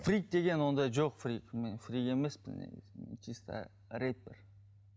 фрик деген ондай жоқ фрик мен фрик емеспін негізінде мен чисто рейтер